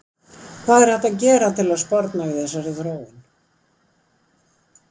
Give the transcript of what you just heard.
hvað er hægt að gera til að sporna við þessari þróun